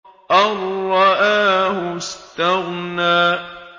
أَن رَّآهُ اسْتَغْنَىٰ